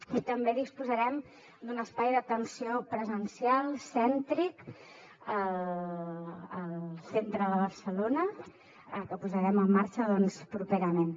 i també disposarem d’un espai d’atenció presencial cèntric al centre de barcelona que posarem en marxa doncs properament